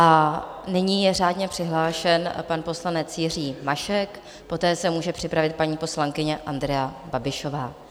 A nyní je řádně přihlášen pan poslanec Jiří Mašek, poté se může připravit paní poslankyně Andrea Babišová.